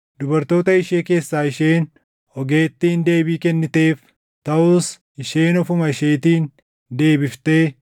Dubartoota ishee keessaa isheen ogeettiin deebii kenniteef; taʼus isheen ofuma isheetiin deebiftee,